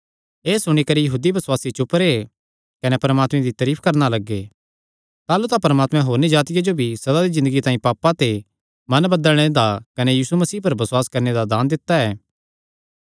एह़ सुणी करी यहूदी बसुआसी चुप रैह् कने परमात्मे दी तरीफ करणा लग्गे ताह़लू तां परमात्मैं होरनी जातिआं जो भी सदा दी ज़िन्दगी तांई पापां ते मन बदलणे दा कने यीशु मसीह पर बसुआस करणे दा दान दित्ता ऐ